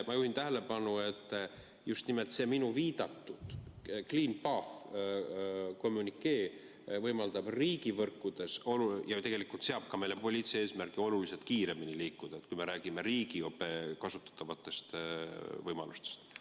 Ma juhin tähelepanu, et just nimelt see minu viidatud kommünikee ja "Clean Path" võimaldab meil ja tegelikult ka seab meile poliitilise eesmärgi oluliselt kiiremini liikuda, kui me räägime riigi kasutatavatest võimalustest.